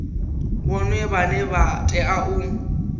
vhoṱhe vhane vha tea u